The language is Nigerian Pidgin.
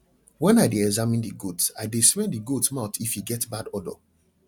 when i dey examine the goats i dey smell the goat mouth if e get bad odour